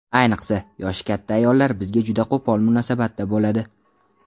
Ayniqsa, yoshi katta ayollar bizga juda qo‘pol munosabatda bo‘ladi.